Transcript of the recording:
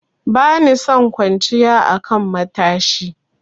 Bani son kwanciya a kan matashi.